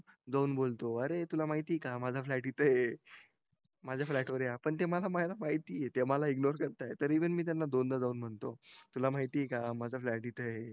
मुद्दाम बोलतोय अरे तुला माहितीये का माझा फ्लॅट इथं आहे माझ्या फ्लॅटवर या पण ते मला माहितीये ते मला इग्नोर करता येत तरी पण मी त्यांना दोनदा जाऊन म्हणतो तुला माहितीये का माझा फ्लॅट इथय